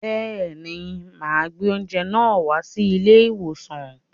Bẹẹ̀ ni, mà gbé oúnjẹ náà wá sí ilé-ìwòsàn.